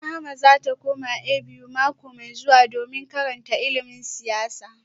Rahama za ta koma A.B.U. mako mai zuwa domin karanta ilimin siyasa